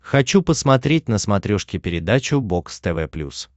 хочу посмотреть на смотрешке передачу бокс тв плюс